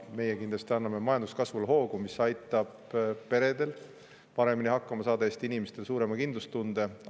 Meie kindlasti anname majanduskasvule hoogu, mis aitab peredel paremini hakkama saada ja Eesti inimestele suurema kindlustunde.